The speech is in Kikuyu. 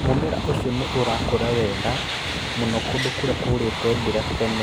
Mu͂mera u͂cio ni͂ ni u͂raku͂ra wega mu͂no ku͂ndu͂ ku͂ri͂a kwaiyu͂ri͂te mbura tene.